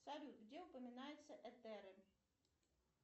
салют где упоминаются этеры